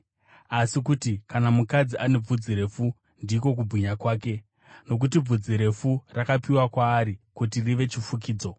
asi kuti kana mukadzi ane bvudzi refu, ndiko kubwinya kwake? Nokuti bvudzi refu rakapiwa kwaari kuti rive chifukidzo.